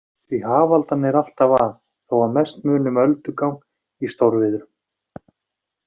Því hafaldan er alltaf að, þó að mest muni um öldugang í stórviðrum.